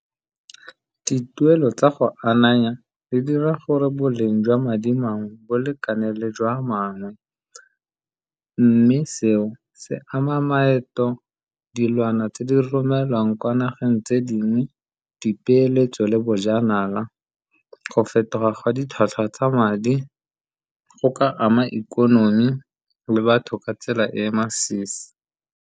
Dituelo tsa go ananya di dira gore boleng jwa madi mangwe bo lekaneng le jwa a mangwe, mme seo se ama maeto, dilwana tse di rileng neelwang kwa nageng tse dingwe, dipeeletso le bojanala, go fetoga ga ditlhwatlhwa tsa madi go ka ama ikonomi le batho ka tsela e masisi.